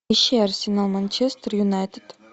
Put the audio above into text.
ищи арсенал манчестер юнайтед